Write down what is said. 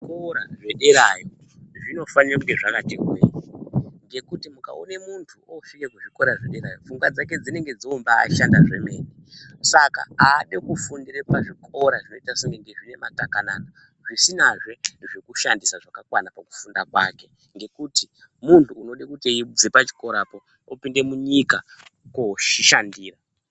Zvikora zvederayo, zvinofanira kunge zvakati hwee, ngekuti mukaona muntu oosvike kuzvikora zvederayo, pfungwa dzake dzinenge dzombaashanda zvomene. Saka aadi kufundira pazvikora, zvinoita sekunge ndezvematakanana, zvisinazve zvekushandisa zvakakwana pakufunda kwake, ngekuti muntu anode kuti eibve pachikorapo opinde munyika koozvishandira.